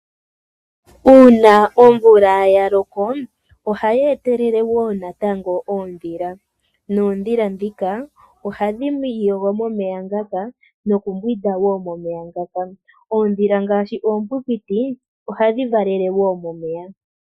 Uuna omvula ya loko, ohayi etelele wo natango oondhila. Noondhila ndhika ohadhi iyogo momeya muka nokunmbwinda womomeya ngaka. Oondhila ngaashi oonkwinkwiti, ohadhi valele wo momeya.